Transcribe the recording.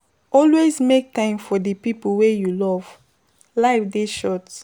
Always make time for di pipo wey you love, life dey short